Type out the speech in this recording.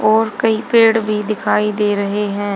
और कई पेड़ भी दिखाई दे रहे हैं।